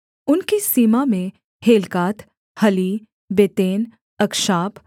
उनकी सीमा में हेल्कात हली बेतेन अक्षाप